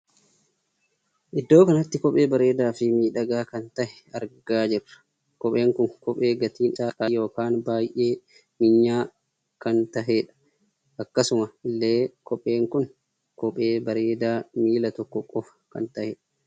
Iddoo kanatti kophee bareedaa fi miidhagaa kan tahee argaa jirra. kopheen kun kophee gatiin isaa qaalii ykn baay'ee minya'aa kan taheedha. akkasuma illee kopheen kun kophee bareedaa miilla tokko qofa kan taheedha.